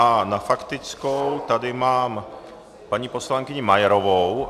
A na faktickou tady mám paní poslankyni Majerovou.